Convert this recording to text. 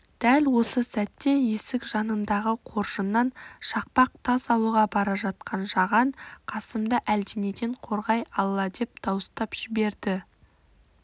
дәл осы сәтте есік жанындағы қоржыннан шақпақ тас алуға бара жатқан жаған қасымды әлденеден қорғай алладеп дауыстап жіберді